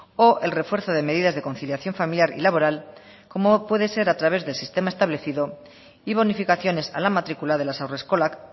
o el refuerzo de medidas de conciliación familiar y laboral como puede ser a través del sistema establecido y bonificaciones a la matrícula de las haurreskolak